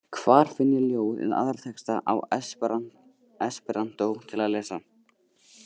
Hvar finn ég ljóð eða aðra texta á esperantó til að lesa?